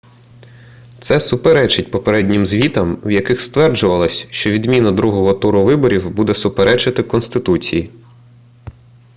це суперечить попереднім звітам в яких стверджувалось що відміна другого туру виборів буде суперечити конституції